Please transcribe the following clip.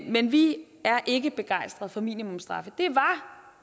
men vi er ikke begejstret for minimumsstraffe det var